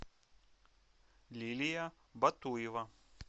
лилия батуева